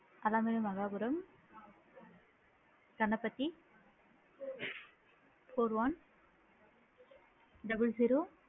அலவேல மகாபுறம் Ganapathi four one double zero